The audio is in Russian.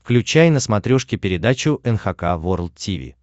включай на смотрешке передачу эн эйч кей волд ти ви